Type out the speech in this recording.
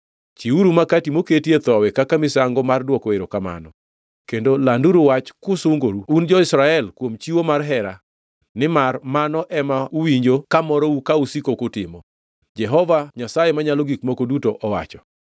Chiwuru makati moketie thowi kaka misango mar dwoko erokamano, kendo landuru wach kusungoru, un jo-Israel kuom chiwo mar hera, nimar mano ema uwinjo ka morou ka usiko kutimo,” Jehova Nyasaye Manyalo Gik Moko Duto owacho.